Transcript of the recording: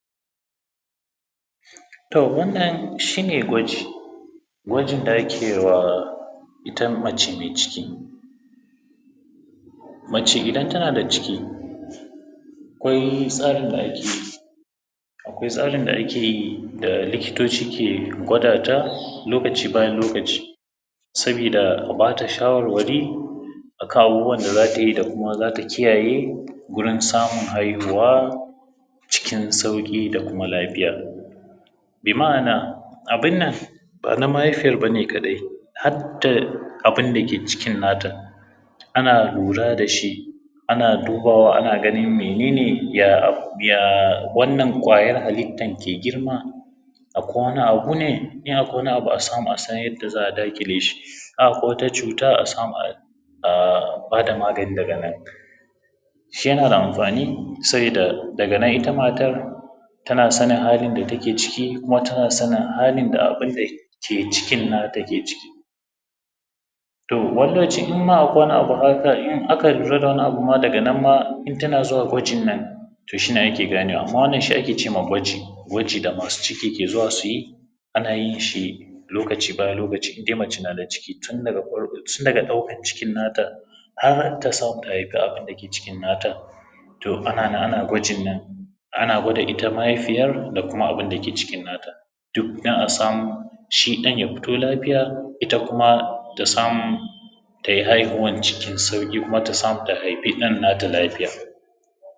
To wannan shine gwaji, gwajin da ake wa ita mace mai ciki, mace idan tana da ciki, akwai tsarin da ake yi da likitoci ke gwadata, lokaci bayan lokaci, saboda a bata shawarwari akan abubuwan da zatayi, da kuma zata kiyaye wurin samun haihuwa cikin sauƙi da kuma lafiya. Bi ma’ana, abun nan ba na mahaifiyar bane kaɗai har da abun da ke cikin nata, ana lura da shi, ana dubawa ana ganin menene ya wannan ƙwayar halittan ke girma a kwana a wuni, in akwai wani abu a samu a san yanda za a daƙile shi, in akwai wata cuta a samu a bada magani daga nan shi yana da amfani, saboda daga nan ita matar tana sanin halin da take ciki, kuma tana sanin halin da abun da ke cikin nata ke ciki. To wani lokaci, in ma akwai wani abu ma in aka lura da wani abu ma daga nan idan tana zuwa gwajin nan to shi ne ake ganewa, wannan shi ake cema gwaji. Gwaji da masu ciki ke zuwa su yi ana yin shi lokaci bayan lokaci, indai mace nada ciki tun daga farko daga ɗaukan ckin nata har ta samu ta haifa abun da ke cikin natan, to ana nan ana gwajin nan. Ana gwada ita mahaifiyar, da kuma abun da ke cikin nata, duk don a samu shi ɗan ya fito lafiya, ita kuma ta samu tayi haihuwan cikin sauƙi kuma ta samu ta haifi ɗan nata lafiya.